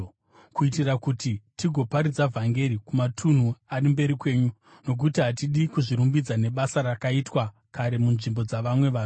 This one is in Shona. kuitira kuti tigoparidza vhangeri kumatunhu ari mberi kwenyu. Nokuti hatidi kuzvirumbidza nebasa rakaitwa kare munzvimbo dzavamwe vanhu.